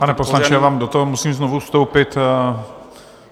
Pane poslanče, já vám do toho musím znovu vstoupit.